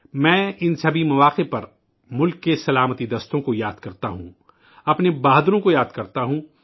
میں ان سبھی مواقع پر ملک کی سیکورٹی فورسز یاد کرتا ہوں، اپنے بہادروں کو یاد کرتا ہوں